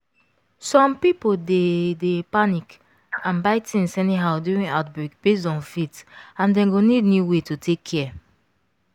some people dey dey panic and buy things anyhow during outbreak based on faith and dem go need new way to take care.